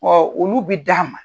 Ɔ olu bɛ d'a ma.